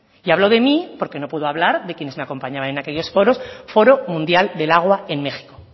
y hablo de mí porque no puedo hablar de quienes me acompañaban en aquellos foros foro mundial del agua en méxico